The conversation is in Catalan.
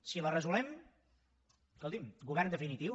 si la resolem escolti’m govern definitiu